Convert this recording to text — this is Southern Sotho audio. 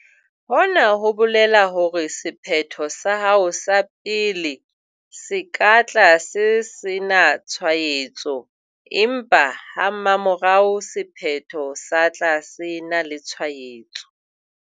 Hona ho bolela hore sephetho sa hao sa pele se ka tla se sena tshwaetso, empa ha mmamora sephetho sa tla se ena le tshwaetso.